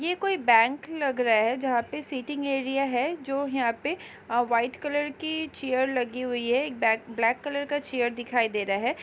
ये कोई बैंक लग रहा है जहाँ पे सीटिंग एरिया है जो यहाँ पे वाइट कलर की चेयर लगी हुई है एक बैग ब्लैक कलर का चेयर दिखाई दे रहा है।